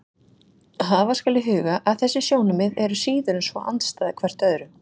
Hafa skal í huga að þessi sjónarmið eru síður en svo andstæð hvert öðru.